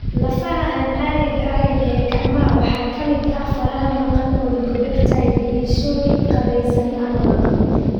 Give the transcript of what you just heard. Lafaha aan caadiga ahayn ee gacmaha waxaa ka mid ah faraha maqan (oligodactyly) iyo suul qaabaysan ama maqan.